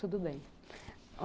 Tudo bem.